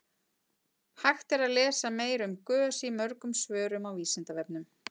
Hægt er að lesa meira um gös í mörgum svörum á Vísindavefnum.